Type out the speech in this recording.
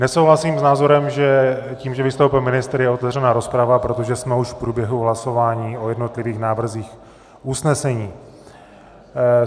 Nesouhlasím s názorem, že tím, že vystoupil ministr, je otevřena rozprava, protože jsme už v průběhu hlasování o jednotlivých návrzích usnesení.